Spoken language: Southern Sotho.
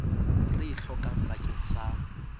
re e hlokang bakeng sa